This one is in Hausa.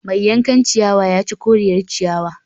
Mai yankan ciyawa ya ci koriyar ciyawa